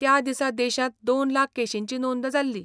त्या दिसा देशांत दोन लाख केशींची नोंद जाल्ली.